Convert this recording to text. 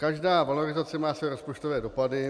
Každá valorizace má své rozpočtové dopady.